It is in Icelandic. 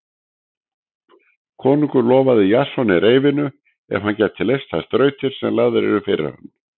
Konungur lofaði Jasoni reyfinu ef hann gæti leyst þær þrautir sem lagðar yrðu fyrir hann.